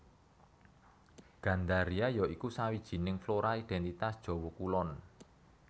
Gandaria ya iku sawijining flora identitas Jawa kulon